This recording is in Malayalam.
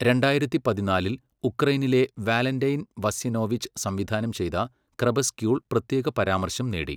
രണ്ടായിരത്തി പതിനാലിൽ ഉക്രെയ്നിലെ വാലന്റൈൻ വസ്യനോവിച്ച് സംവിധാനം ചെയ്ത 'ക്രെപസ്ക്യൂൾ' പ്രത്യേക പരാമർശം നേടി.